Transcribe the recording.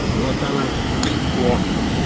вот она о